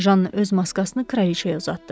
Janna öz maskasını kraliçaya uzatdı.